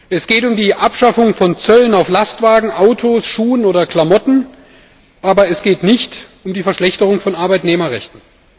Es geht um die Abschaffung von Zöllen auf Lastwagen, Autos, Schuhe oder Klamotten Kleidung, aber es geht nicht um die Verschlechterung von Arbeitnehmerrechten.